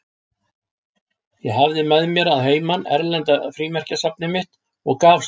Ég hafði með mér að heiman erlenda frímerkjasafnið mitt og gaf stúlkunni.